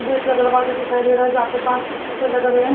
Gate का दरवाजा दिखाई दे रहा है जहां पे कांच किसी से लगे हुए हैं।